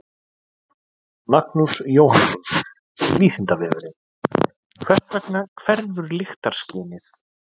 Magnús Jóhannsson: Vísindavefurinn: Hvers vegna hverfur lyktarskynið?